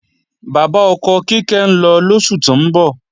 Bàbá ọkọ Kíkẹ́ ń lọ lóṣù tó ń bọ̀